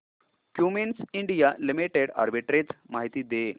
Cummins India limited arbitrage माहिती दे